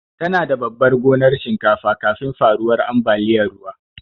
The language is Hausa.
Tana da babar gonar shinkafa kafin faruwar ambaliyar ruwa.